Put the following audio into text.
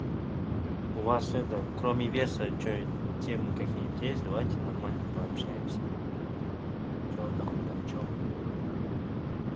у вас это кроме верса темы какие-нибудь есть давайте нормально пообщаемся что там почём